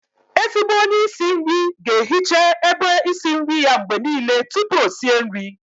Ezigbo onye isi nri ga-ehiche ebe isi nri ya mgbe niile tupu o sie nri